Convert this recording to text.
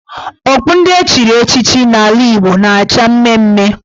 Okpu ndị echiri echichi n' ala Igbo na-acha mmee mmee.